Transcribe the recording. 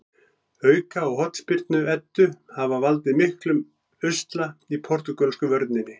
Auka- og hornspyrnu Eddu hafa valdið miklum usla í portúgölsku vörninni.